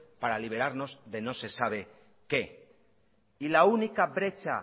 para liberarnos de no se sabe qué y la única brecha